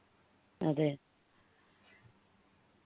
അതെ